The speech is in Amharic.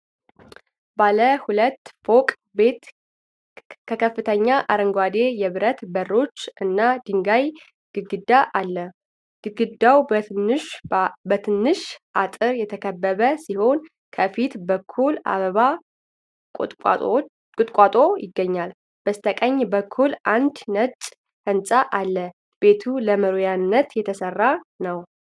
ባለ ሁለት ፎቅ ቤት ከከፍተኛ አረንጓዴ የብረት በሮች እና የድንጋይ ግድግዳ አለው። ግድግዳው በትንሽ አጥር የተከበበ ሲሆን ከፊት በኩል የአበባ ቁጥቋጦ ይገኛል። በስተቀኝ በኩል አንድ ነጭ ሕንፃ አለ። ቤቱ ለመኖሪያነት የተሰራ ነው?